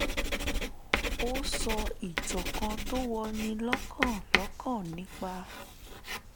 ó sọ ìtàn kan tó wọni lọ́kàn lọ́kàn nípa